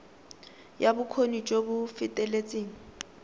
ya bokgoni jo bo feteletseng